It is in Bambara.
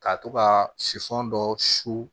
Ka to ka siman dɔ su